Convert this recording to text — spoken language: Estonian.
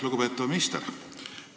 Lugupeetav minister!